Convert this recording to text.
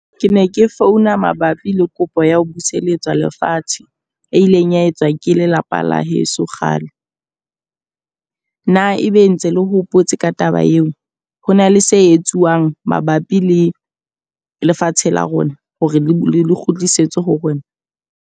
Ke ne ke founa mabapi le kopo ya ho buseletswa lefatshe, e ileng ya etswa ke lelapa la heso kgale. Na ebe ntse le hopotse ka taba eo? Ho na le se etsuwang mabapi le lefatshe la rona hore le kgutlisetswe ho rona?